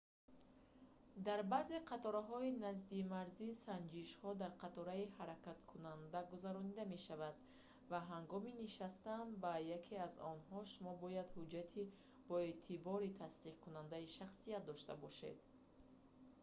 дар баъзе қатораҳои наздимарзӣ санҷишҳо дар қатораи ҳаракаткунанда гузаронида мешаванд ва ҳангоми нишастан ба яке аз онҳо шумо бояд ҳуҷҷати боэътибори тасдиқкунандаи шахсият дошта бошед